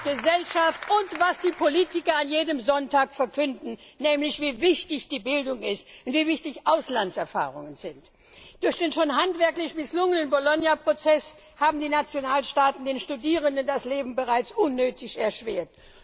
Gesellschaft und Politiker jeden Sonntag verkünden, wie wichtig die Bildung ist und wie wichtig Auslandserfahrungen sind. Durch den schon handwerklich misslungenen Bologna Prozess haben die Nationalstaaten den Studierenden das Leben bereits unnötig erschwert.